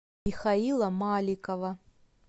михаила маликова